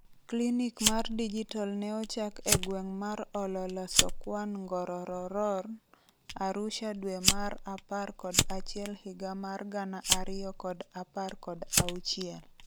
Klinik mar digitol neochak e gweng' mar Ololosokwan Ngorororor, Arusha dwee mar apar kod achiel higa mar gana ariyo kod apar kod auchiel.